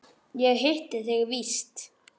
Ég hitti þig víst!